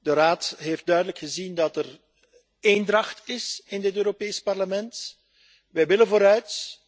De Raad heeft duidelijk gezien dat er eendracht is in dit Europees Parlement. Wij willen vooruit.